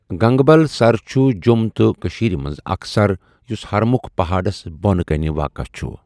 گَنگبَل سَر چھُ جۆم تہٕ کٔشیٖرِ مَنٛز اَكھ سَر یُس ہَرمُکھ پَہأڈَس بۄنہٕ کَنہِ واقَہ چھُ۔